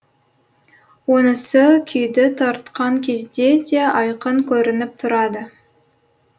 онысы күйді тартқан кезде де айқын көрініп тұрады